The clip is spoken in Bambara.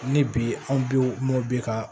Ni bi anw be yen o mɔ bi ka